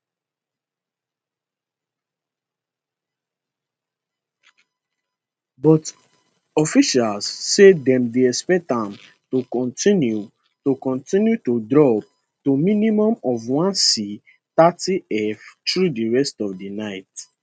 but officials say dem dey expect am to kontinu to kontinu to drop to minimum of 1c 30f through di rest of di night